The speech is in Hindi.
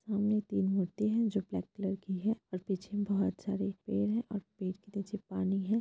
सामने तीन मूर्ति हैं जो ब्लैक कलर की हैं और पीछे बहुत सारे पेड़ हैं और पेड़ के नीचे पानी है।